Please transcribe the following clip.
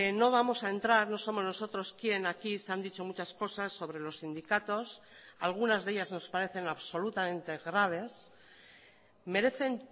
no vamos a entrar no somos nosotros quién aquí se han dicho muchas cosas sobre los sindicatos algunas de ellas nos parecen absolutamente graves merecen